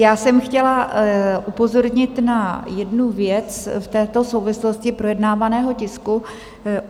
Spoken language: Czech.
Já jsem chtěla upozornit na jednu věc v této souvislosti projednávaného tisku.